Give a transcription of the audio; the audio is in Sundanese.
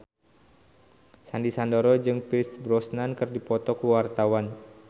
Sandy Sandoro jeung Pierce Brosnan keur dipoto ku wartawan